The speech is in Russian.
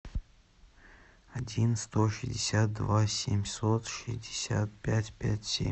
один сто шестьдесят два семьсот шестьдесят пять пять семь